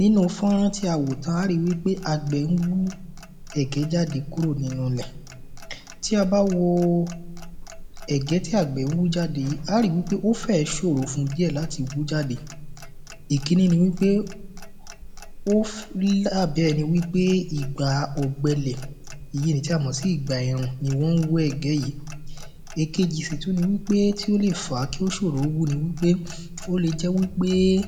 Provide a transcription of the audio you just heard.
nínú fọ́rán tí awò tán a ó ri wípé àgbẹ̀ ń wú ẹ̀gbẹ́ jàde kúrò nínú ilẹ̀ tí a bá woo ẹ̀gbẹ́ tí àgbẹ̀ ń wú jáde yìí a á ri pé ó fẹ̀ẹ́ ṣòro fún díẹ̀ láti wú jáde ìkíní ni wípé ófí àbí ẹni wípé ìgbàa ọ̀gbẹlẹ̀ èyi nì tí a mọ̀ sí ìgbà ẹ̀rùn ni wọ́n ń wú ẹ̀gbẹ́ yìí èkejì sì tún ni wípé tí ó lè fàá kí ó ṣòro ńwó ni wípé óle jẹ́ wípé é